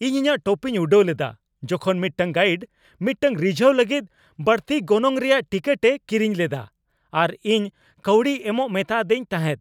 ᱤᱧ ᱤᱧᱟᱹᱜ ᱴᱚᱯᱤᱧ ᱩᱰᱟᱹᱣ ᱞᱮᱫᱟ ᱡᱚᱠᱷᱚᱱ ᱢᱤᱫᱴᱟᱝ ᱜᱟᱭᱤᱰ ᱢᱤᱫᱴᱟᱝ ᱨᱤᱡᱷᱟᱹᱣ ᱞᱟᱹᱜᱤᱫ ᱵᱟᱹᱲᱛᱤ ᱜᱚᱱᱚᱝ ᱨᱮᱭᱟᱜ ᱴᱤᱠᱤᱴᱮ ᱠᱤᱨᱤᱧ ᱞᱮᱫᱟ ᱟᱨ ᱤᱧ ᱠᱟᱹᱣᱰᱤ ᱮᱢᱚᱜᱼᱮ ᱢᱮᱛᱟᱫᱮᱧ ᱛᱟᱦᱮᱸᱫ ᱾